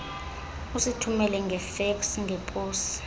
usithumele ngefeksi ngeposi